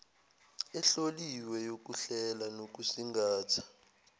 ehloliwe yokuhlela nokusingatha